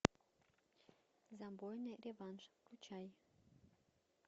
забойный реванш включай